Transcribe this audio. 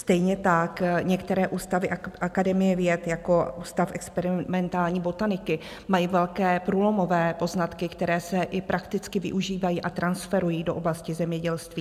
Stejně tak některé ústavy Akademie věd jako Ústav experimentální botaniky mají velké průlomové poznatky, které se i prakticky využívají a transferují do oblasti zemědělství.